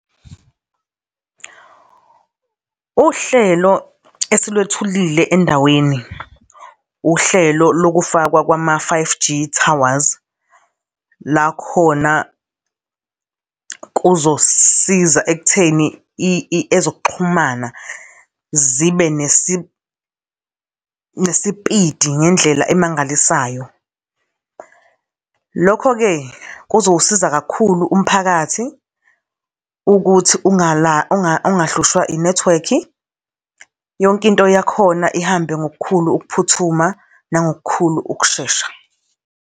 Uhlelo esilwethulile endaweni, uhlelo lokufakwa kwama five G towers, la khona kuzosisiza ekutheni ezokuxhumana zibe nesipidi ngendlela emangalisayo. Lokho-ke, kuzowukusiza kakhulu umphakathi, ukuthi ungahlushwa i-network, yonke into yakhona ihambe ngokukhulu ukuphuthuma nangokukhulu ukushesha.